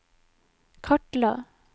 kartla